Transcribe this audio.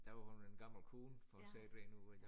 Der var hun en gammel kone for at sige det rent ud